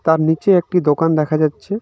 তার নীচে একটি দোকান দেখা যাচ্ছে।